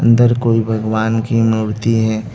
अंदर कोई भगवान की मूर्ति है।